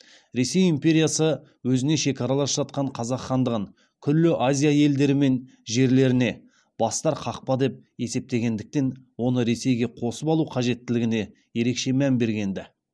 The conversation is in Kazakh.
ресей империясы өзіне шекаралас жатқан қазақ хандығын күллі азия елдері мен жерлеріне бастар қақпа деп есептегендіктен оны ресейге қосып алу қажеттілігіне ерекше мән бергенді